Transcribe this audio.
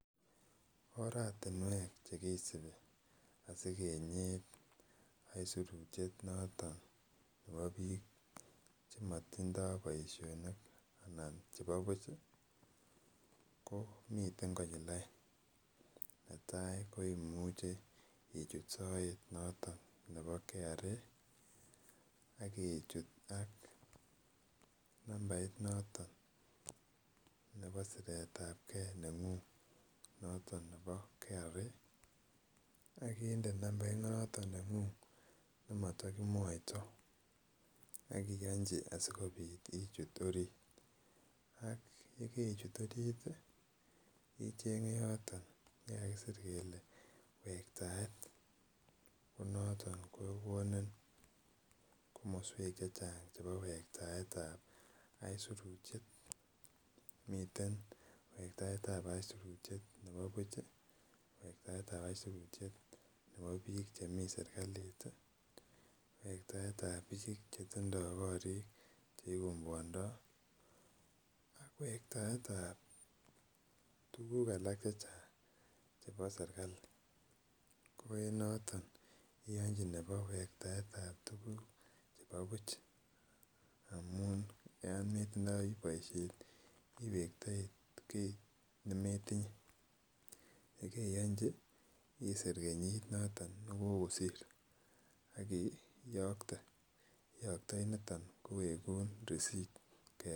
Oratinuek chekisibi asigenyit aisurutyet noton nebo biik chemotindo boisionik anan chebo buch ii ko miten konyil oeng netai ko imuche ichut soet noton nebo KRA ak ichut ak nambait noton nebo siretabgee neng'ung noton nebo KRA, ak inde nambait noton neng'ung nemotogimwoito ak iyonji asikobit ichut orit, ak yekarichut orit ii icheng'e yoton yekakisir kele wektaet ko noton kogonin komoswek chechang'chebo wektaet ab aisurutyet, miten wektaet ab aisurutyet nebo buch ii, wektaet ab aisurutyet nebo biik chemi serkalit ii, wektaet ab biik chetindo korit cheigomwondoi ak wektaet ab tuguk alak chechang' chebo sergali, ko enoton iyonchi nebo wektaetab tuguk chebo buch amun yometindoi boisiet ii iwektoi kit nemetinye, yekoriyonji isir kenyitnoton negokosir ak iyokte ,iyoktoi niton kowegun resit.